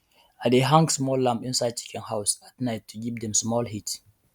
i dey hang small lamp inside chicken house at night to give dem small heat